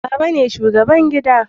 baba ne shugaban gida